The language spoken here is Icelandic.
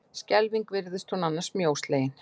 Skelfing virtist hún annars mjóslegin!